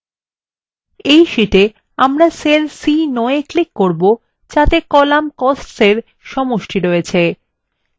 in শীটে আমরা cell c9 we click করব যাতে column costs in সমষ্টি রয়েছে